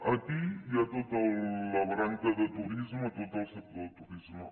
aquí hi ha tota la branca de turisme tot el sector del turisme